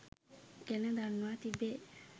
ගැන දන්වා තිබේ.